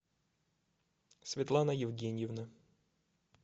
светлана евгеньевна